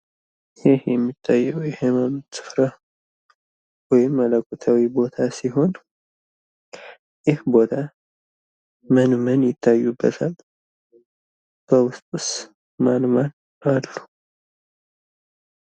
ይህ የሚታየው የሐይማኖት ቦታ ወይም መለኮታዊ ቦታ ሲሆን ይህ ቦታ ምን ምን ይታዩበታል? በውስጡስ ማን ማን አሉ?